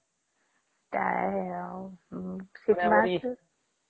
ଟାରେ ଆଉ ଶୀତ ମାସରେ